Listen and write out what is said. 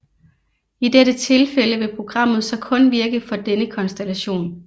I dette tilfælde vil programmet så kun virke for denne konstellation